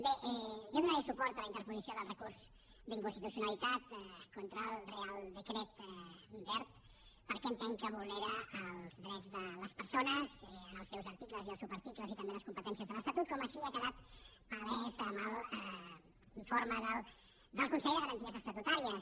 bé jo donaré suport a la interposició del recurs d’inconstitucionalitat contra el reial decret wert perquè entenc que vulnera els drets de les persones en els seus articles i subarticles i també les competències de l’estatut com així ha quedat palès en l’informe del consell de garanties estatutàries